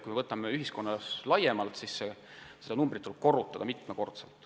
Kui vaatame ühiskonda laiemalt, siis on kahjunumber lausa mitmekordne.